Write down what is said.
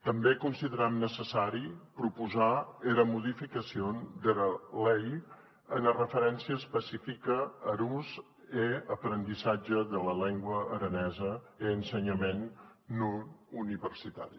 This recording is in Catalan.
tanben consideram necessari proposar era modificacion dera lei ene referéncia especifica ar us e aprendissatge dera lengua aranesa en ensenhament non universitari